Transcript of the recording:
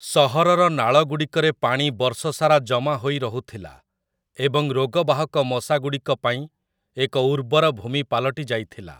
ସହରର ନାଳଗୁଡ଼ିକରେ ପାଣି ବର୍ଷସାରା ଜମା ହୋଇ ରହୁଥିଲା ଏବଂ ରୋଗବାହକ ମଶାଗୁଡ଼ିକପାଇଁ ଏକ ଉର୍ବର ଭୂମି ପାଲଟି ଯାଇଥିଲା ।